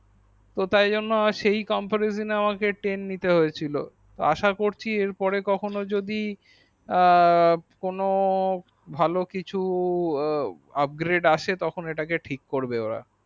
তো সেই comparison এ টেন নিতে হয়েছিল আসা করছি এর পরে কখন ও যদি আ কোনো ভালো কিছু upgrade আসে সেটাকে ঠিক করবে ওরা